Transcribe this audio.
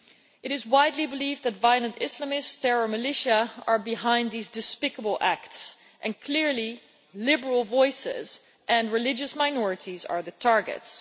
It is widely believed that violent Islamist terror militia are behind these despicable acts, and clearly liberal voices and religious minorities are the targets.